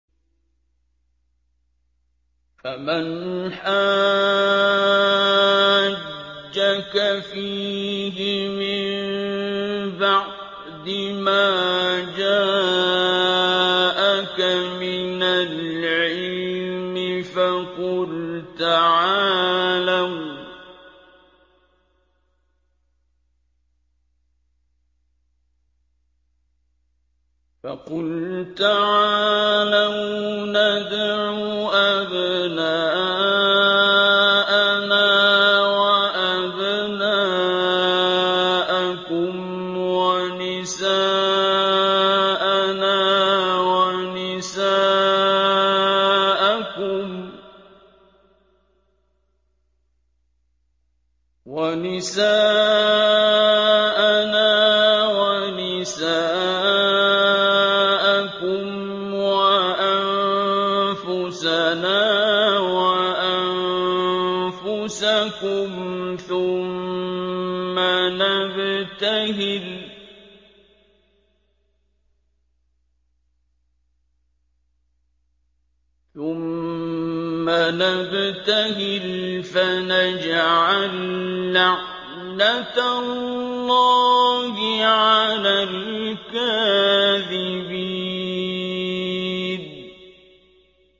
فَمَنْ حَاجَّكَ فِيهِ مِن بَعْدِ مَا جَاءَكَ مِنَ الْعِلْمِ فَقُلْ تَعَالَوْا نَدْعُ أَبْنَاءَنَا وَأَبْنَاءَكُمْ وَنِسَاءَنَا وَنِسَاءَكُمْ وَأَنفُسَنَا وَأَنفُسَكُمْ ثُمَّ نَبْتَهِلْ فَنَجْعَل لَّعْنَتَ اللَّهِ عَلَى الْكَاذِبِينَ